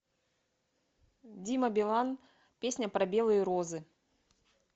дима билан песня про белые розы